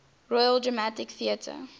royal dramatic theatre